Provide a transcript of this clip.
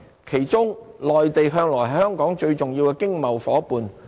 其中，內地向來是香港最重要的經貿夥伴。